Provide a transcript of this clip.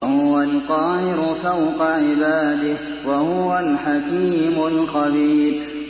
وَهُوَ الْقَاهِرُ فَوْقَ عِبَادِهِ ۚ وَهُوَ الْحَكِيمُ الْخَبِيرُ